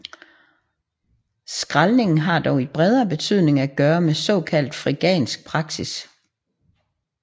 Skraldning har dog i bredere betydning at gøre med såkaldt frigansk praksis